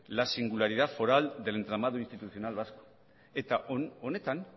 la singularidad foral del entramado institucional vasco eta honetan